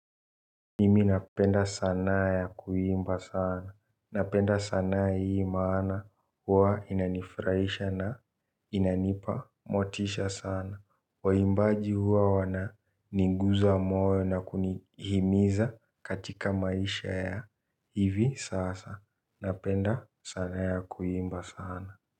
Mimi napenda sanaa ya kuimba sana, napenda sana hii maana huwa inanifurahisha na inanipa motisha sana. Waimbaji huwa wana niguza moyo na kunihimiza katika maisha ya, hivi sasa, napenda sanaa ya kuimba sana.